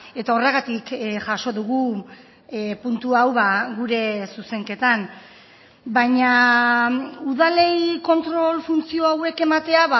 eta horregatik jaso dugu puntu hau gure zuzenketan baina udalei kontrol funtzio hauek ematea